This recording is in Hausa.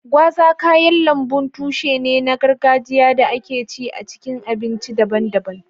gwaza kayan lambun tushe ne na gargajiya da ake ci a cikin abinci daban-daban.